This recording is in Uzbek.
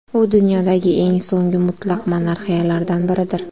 U dunyodagi eng so‘nggi mutlaq monarxiyalardan biridir.